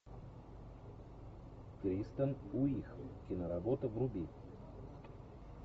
кристен уиг киноработа вруби